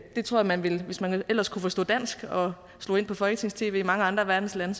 jeg tror man hvis man ellers kunne forstå dansk og slog ind på folketings tv i mange andre af verdens lande